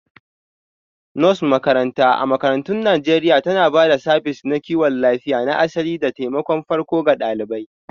Nurse makaranta a makarantun Najeriya tana ba da sabis na kiwon lafiya na asali da taimakon farko ga ɗalibai